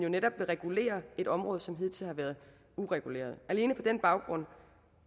netop vil regulere et område som hidtil har været ureguleret alene på den baggrund